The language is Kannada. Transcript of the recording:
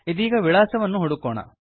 ಇದೀಗ ವಿಳಾಸವನ್ನು ಹುಡುಕೋಣ